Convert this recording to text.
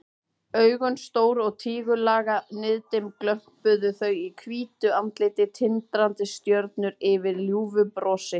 Augun stór og tígullaga, niðdimm glömpuðu þau í hvítu andliti, tindrandi stjörnur yfir ljúfu brosi.